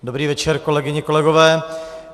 Dobrý večer, kolegyně, kolegové.